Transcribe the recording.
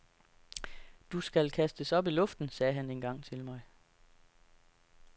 Du skal kastes op i luften, sagde han engang til mig.